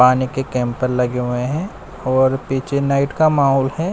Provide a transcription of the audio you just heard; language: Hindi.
पानी के कैंपर लगे हुए हैं और पीछे नाइट का माहौल है।